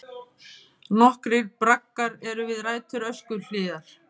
Nokkrir braggar eru við rætur Öskjuhlíðar.